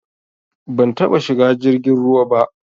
Ban taɓa shiga jirgin ruwa ba.